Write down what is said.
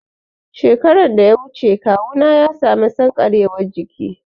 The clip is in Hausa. Shekaran da ya wuce kawuna ya sami sankarewar jiki